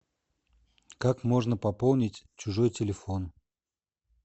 как можно пополнить чужой телефон